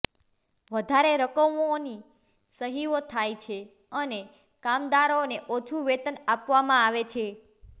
વધારે રકમોની સહીઓ થાય છે અને કામદારોને ઓછું વેતન આપવામાં આવે છે